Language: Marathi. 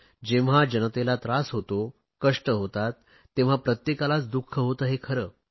जेव्हा जनतेला त्रास होतो कष्ट होतात तेव्हा प्रत्येकालाच दुख होते हे खरे